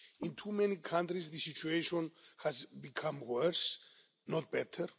In too many countries the situation has become worse, not better.